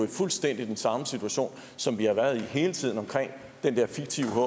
fuldstændig samme situation som vi har været i hele tiden om den der fiktive hker